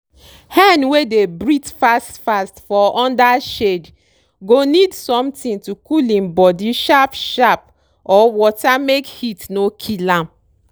hen wey dey breathe fast fast for under shade go need sometin to cool im body sharp sharp or water make heat no kill am.